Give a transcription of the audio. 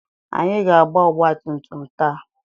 Anyị ga-agba ọgbatumtum m taa.